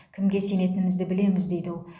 кімге сенетінімізді білеміз дейді ол